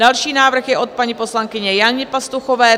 Další návrh je od paní poslankyně Jany Pastuchové.